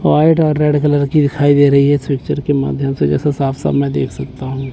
White और red colour की दिखाई दे रही है इस पिक्चर के माध्यम से जैसा साफ साफ देख सकता हूँ।